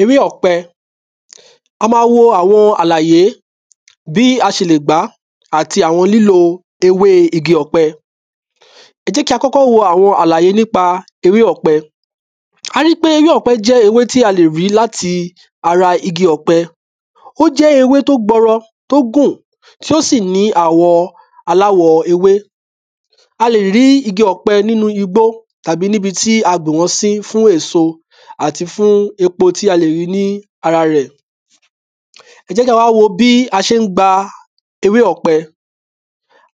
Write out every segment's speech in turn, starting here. Ewé ọ̀pẹ. A ma wo awọn àlàyé bí a ṣe lè gbáà àti awọn lílo ewé igi ọ̀pẹ Jẹ́ kí a kọ́kọ́ wo awọn àlàyé nípa ewé ọ̀pẹ. A rí pe ewé ọ̀pẹ jẹ́ ewé tí a lè ri láti ara igi ọ̀pẹ. O jẹ́ ewé to gbọrọ tó gún Tí o sì ní àwọ̀ aláwọ̀ ewé. A lè rí igi ọ̀pẹ nínu igbó tàbí níbi tí a gbìn wọn sí fún èso àti fún epo tí a lè ri ní ara rẹ̀. ẹ jẹ́ kí a wa wo bí a ṣé n gbá ewé ọ̀pẹ.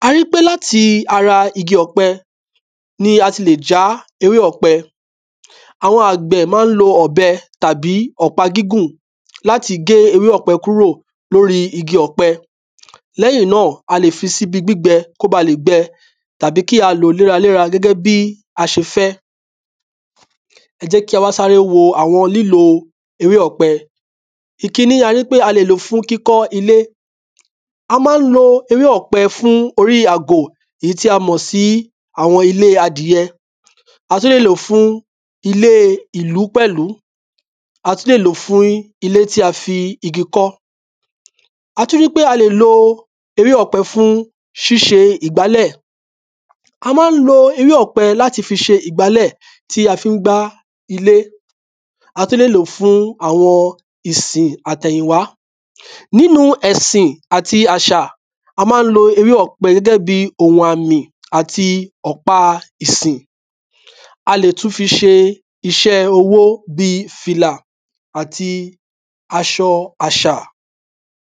A rí pe láti ara igi ọ̀pẹ ní a ti lè já ewé ọ̀pẹ. Awọn àgbẹ̀ má n lo ọ̀bẹ tábi bí ọ̀pá gígùn láti gé ewé ọ̀pẹ kúrò lóri igi ọ̀pẹ Lẹ́hìn náà, a lè fi sí ibi gbígbẹ ko bá lè gbẹ, tàbi kí a lòọ́ léra léra gẹ́gẹ́ bí a ṣe fẹ́. ẹ jẹ́ kí a wa sáré wó lílo ewé ọ̀pẹ Ìkíní a lè ló fún kíkọ́ ilé. A má n lo ewé ọ̀pẹ fún orí àgò, ìyí tí a mọ̀ sí awọn ilé adìyé A tún le lo fún ilé ìlú pẹ́lù. Á tún le lo fún ilé ti fi igi kọ́, àtí wí pe a lè lo ewé ọ̀pẹ fún ṣíṣe ìgbálẹ̀ A má n lo ìgbálẹ̀ tí a fi n gbá ilé. A tún le lo fún awọn ìsìn atẹ́yìnwá Nínú ẹ̀sìn áti àṣà a má n lo ewé ọ̀pẹ gẹ́gẹ́ bí ohun àmì ati ọ̀pá ìsìn A lè tún fi ṣe iṣé owó bí fìlà ati aṣọ àṣà